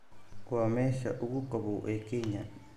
waa meesha ugu qabow ee kenya